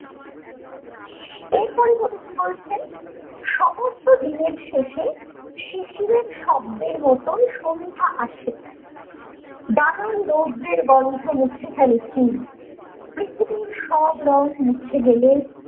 এরপরে কবি কি বলছেন, সমস্ত দিনের শেষে শিশিরের শব্দের মতোন সন্ধ্যা আসে নানান রৌদ্রের গন্ধ মুছে ফেলেছি পৃথিবীর সব রঙ মুছে ফেলে